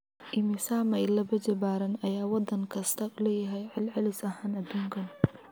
Immisa mayl laba jibaaran ayaa waddan kastaa leeyahay celcelis ahaan adduunka?